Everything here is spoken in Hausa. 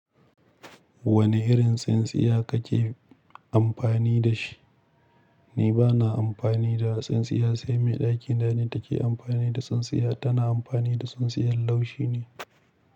Wani irin tsintsiya kake amfani da shi? Ni bana amfani da tsintsiya sai mai ɗakina ne take amfani da tsintsiya tana amfani da tsintsiyar laushi ne.